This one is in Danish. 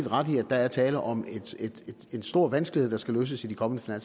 ret i at der er tale om en stor vanskelighed der skal løses i de kommende